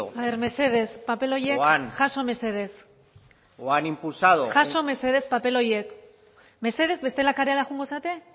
aber mesedez paper horiek jaso mesedez jaso mesedez paper horiek mesedez bestela kalera joango zarete